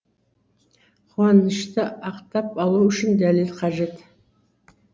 қуанышты ақтап алу үшін дәлел қажет